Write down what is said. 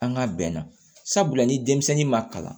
An ka bɛn na sabula ni denmisɛnnin ma kalan